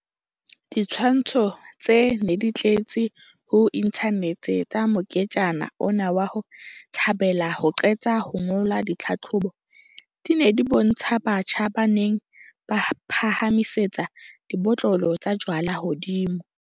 Ditshwantsho tse neng di tletse ho inthanete tsa moketjana ona wa ho thabela ho qeta ho ngola ditlhahlobo, di ne di bontsha batjha ba neng ba phahamiseditse dibotlolo tsa jwala hodimo.